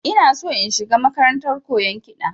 Ina shi in shiga makarantar koyan kiɗa